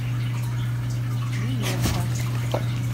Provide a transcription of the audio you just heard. миненко